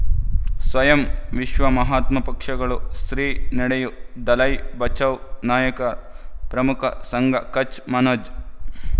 ಸ್ವಯಂ ವಿಶ್ವ ಮಹಾತ್ಮ ಪಕ್ಷಗಳು ಶ್ರೀ ನಡೆಯೂ ದಲೈ ಬಚೌ ನಾಯಕ ಪ್ರಮುಖ ಸಂಘ ಕಚ್ ಮನೋಜ್